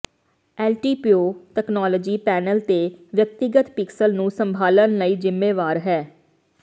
LTPO technology panel ਤੇ ਵਿਅਕਤੀਗਤ pixel ਨੂੰ ਸੰਭਾਲਣ ਲਈ ਜ਼ਿੰਮੇਵਾਰ ਹੈ